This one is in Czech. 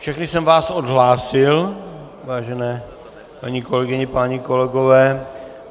Všechny jsem vás odhlásil, vážené paní kolegyně, páni kolegové.